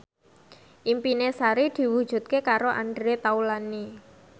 impine Sari diwujudke karo Andre Taulany